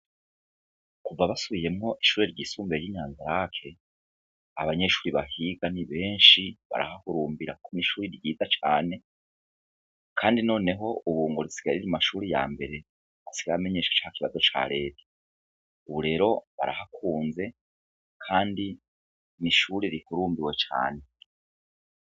Kuva basubiyemwo ishure ry'isumbuye ry'inyanza lac, abanyeshure bahiga ni benshi barahahurumbira n'ishuri ryiza cane, kandi noneho Ubu ngo risigaye riri mu mashuri ya mbere asigaye amenyesha ca kibazo ca reta, Ubu rero barahakunze kandi n'ishuri rihurumbiwe cane.